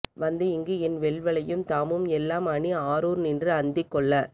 வந்து இங்கு என் வெள்வளையும் தாமும் எல்லாம் அணி ஆரூர் நின்று அந்திக் கொள்ள